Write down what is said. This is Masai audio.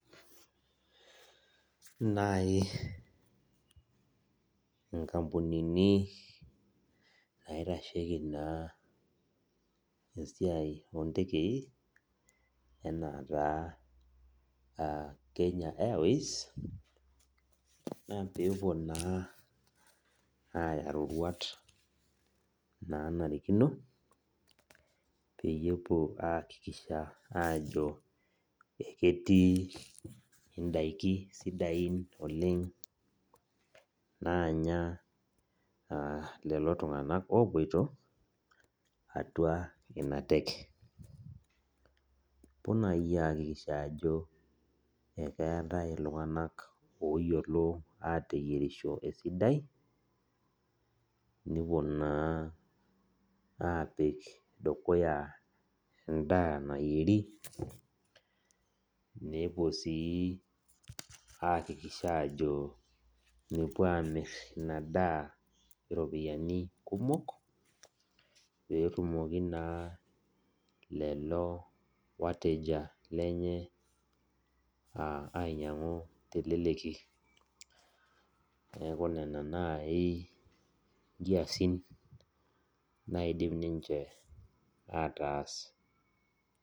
Nai inkampunini naitasheki naa esiai ontekei, enaa taa Kenya Airways, na pepuo naa aya roruat nanarikino, peyie epuo aakikisha ajo eketii idaiki sidain oleng naanya naa lelo tung'anak opoito, atua ina teke. Kepuo nai aakikisha ajo ekeetae iltung'anak oyiolo ateyierisho esidai, nepuo naa apik dukuya endaa nayieri, nepuo si aakikisha ajo mepuo amir inadaa ropiyiani kumok, petumoki naa lelo wateja lenye ainyang'u teleleki. Neeku nena nai nkiasin naidim ninche ataas.